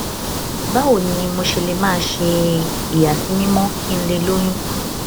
báwo ni mo ṣe lè máa ṣe ìyàsímímó kí n lè lóyún